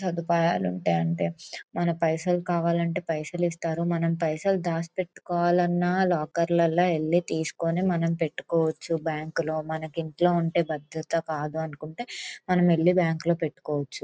సదుపాయాలు ఉంటాయంటే మనకే పైసలు కావలనంటే పైసలిస్తారు మనం పైసలు దాసిపెట్టుకోవాలన్న లోకెర్లో ఎల్లితీస్కొని మనం పెట్టుకోవచ్చు బ్యాంకు లో మనకి ఇంట్లో ఉంటె భద్రతా కాదు అనుకుంటే మనం ఇల్లి బ్యాంకు లో పెట్టుకోవచ్చు.